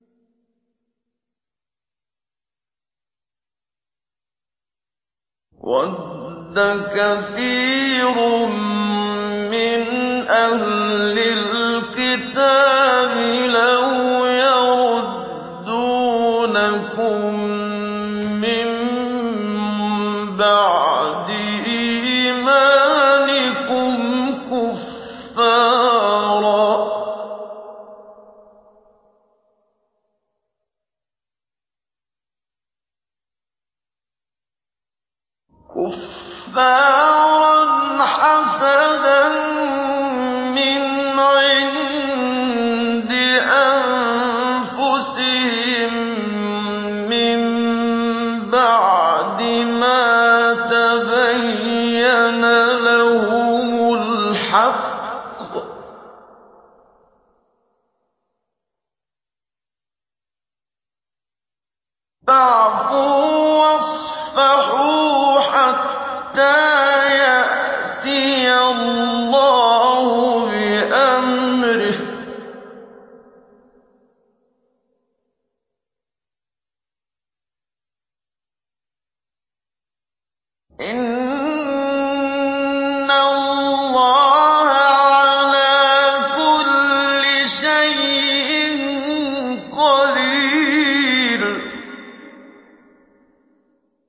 وَدَّ كَثِيرٌ مِّنْ أَهْلِ الْكِتَابِ لَوْ يَرُدُّونَكُم مِّن بَعْدِ إِيمَانِكُمْ كُفَّارًا حَسَدًا مِّنْ عِندِ أَنفُسِهِم مِّن بَعْدِ مَا تَبَيَّنَ لَهُمُ الْحَقُّ ۖ فَاعْفُوا وَاصْفَحُوا حَتَّىٰ يَأْتِيَ اللَّهُ بِأَمْرِهِ ۗ إِنَّ اللَّهَ عَلَىٰ كُلِّ شَيْءٍ قَدِيرٌ